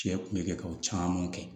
Cɛ kun be kɛ ka o caman kɛ